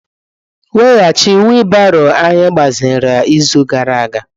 Weghachi wiilibaro anyị gbaziri izu gara aga.